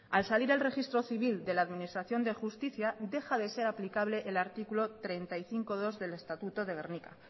al salir al registro civil de la administración de justicia deja de ser aplicable el artículo treinta y cinco punto dos del estatuto de gernika